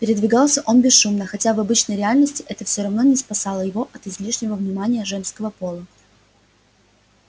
передвигался он бесшумно хотя в обычной реальности это всё равно не спасало его от излишнего внимания женского пола